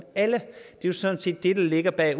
alle det er sådan set det der ligger bag